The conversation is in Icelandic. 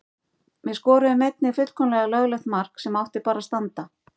Við skoruðum einnig fullkomlega löglegt mark sem átti bara að standa.